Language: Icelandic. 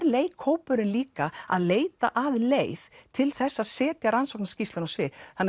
leikhópurinn líka að leita að leið til þess að setja rannsóknarskýrsluna á svið þannig